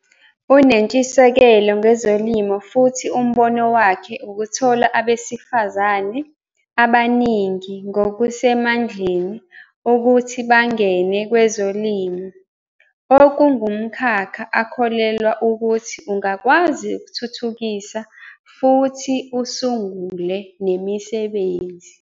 Unentshisekelo ngezolimo futhi umbono wakhe ukuthola abesifazane abaningi ngokusemandleni ukuthi bangene kwezolimo, okungumkhakha akholelwa ukuthi ungakwazi ukuthuthukisa futhi usungule nemisebenzi.